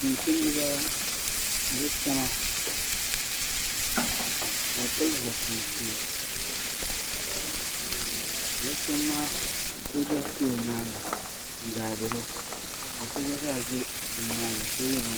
tumtumdi ba ni bɛ kpɛma ka bɛ pili zupiliti ka bɛ kpɛma maa ka sooja ʒi nyaaga n-gaadiri o ka so gba zaa ʒe bɛ nyaaga ka ye binŋmaa.